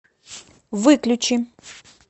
выключи